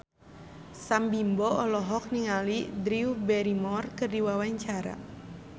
Sam Bimbo olohok ningali Drew Barrymore keur diwawancara